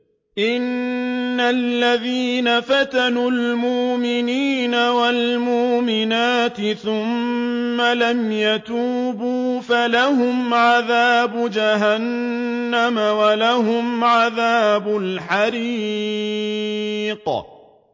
إِنَّ الَّذِينَ فَتَنُوا الْمُؤْمِنِينَ وَالْمُؤْمِنَاتِ ثُمَّ لَمْ يَتُوبُوا فَلَهُمْ عَذَابُ جَهَنَّمَ وَلَهُمْ عَذَابُ الْحَرِيقِ